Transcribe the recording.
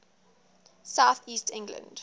south east england